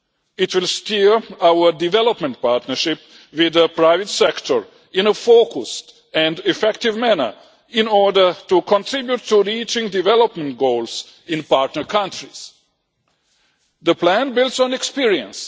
It will steer our development partnership with the private sector in a focused and effective manner in order to contribute to reaching development goals in partner countries. The plan builds on experience.